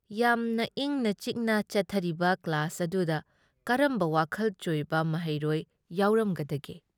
ꯌꯥꯝꯅ ꯏꯪꯅ ꯆꯤꯛꯅ ꯆꯠꯊꯔꯤꯕ ꯀ꯭ꯂꯥꯁ ꯑꯗꯨꯗ ꯀꯔꯝꯕ ꯋꯥꯈꯜ ꯆꯣꯏꯕ ꯃꯍꯩꯔꯣꯏ ꯌꯥꯎꯔꯝꯒꯗꯒꯦ?